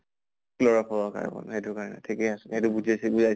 chloro fluoro carbon এইটোৰ কাৰণে ঠিকে আছে। সেইটো বুজিছে বুজাইছে